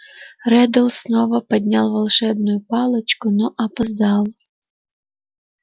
реддл снова поднял волшебную палочку но опоздал